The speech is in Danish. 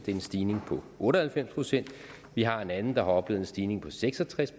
er en stigning på otte og halvfems procent vi har en anden der har oplevet en stigning på seks og tres